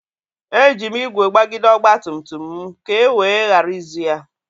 Eji m ígwè gbagide ọgba tum tum m ka e wee ghara izu ya.